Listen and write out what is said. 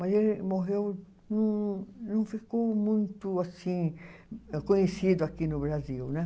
Mas ele morreu, não não ficou muito, assim, conhecido aqui no Brasil, né?